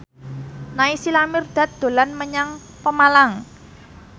Naysila Mirdad dolan menyang Pemalang